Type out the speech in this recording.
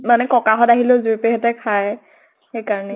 মানে ককা হতঁ আহিলে ও হঁতে খাই । সেইকাৰণেই ।